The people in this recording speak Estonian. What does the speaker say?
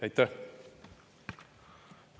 Aitäh!